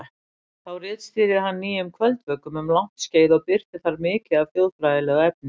Þá ritstýrði hann Nýjum kvöldvökum um langt skeið og birti þar mikið af þjóðfræðilegu efni.